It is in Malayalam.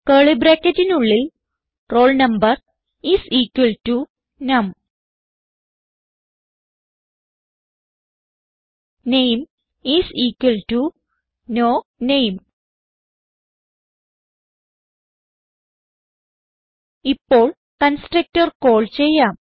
കർലി ബ്രാക്കറ്റിനുള്ളിൽ roll number is equal to num name is equal to no name ഇപ്പോൾ കൺസ്ട്രക്ടർ കാൾ ചെയ്യാം